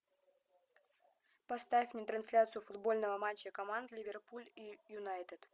поставь мне трансляцию футбольного матча команд ливерпуль и юнайтед